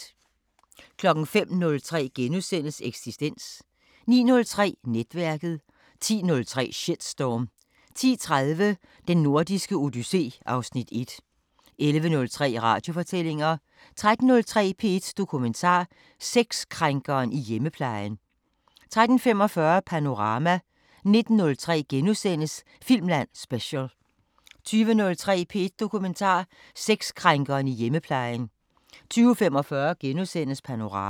05:03: Eksistens * 09:05: Netværket 10:03: Shitstorm 10:30: Den Nordiske Odyssé (Afs. 1) 11:03: Radiofortællinger 13:03: P1 Dokumentar: Sexkrænkeren i hjemmeplejen 13:45: Panorama 19:03: Filmland Special * 20:03: P1 Dokumentar: Sexkrænkeren i hjemmeplejen 20:45: Panorama *